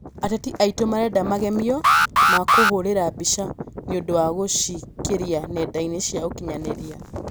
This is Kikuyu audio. Ateja aĩtũ marenda magemio ma kũhũrĩra mbica nĩũndũ wa gũciĩkĩra nendainĩ cia ũkinyanĩria.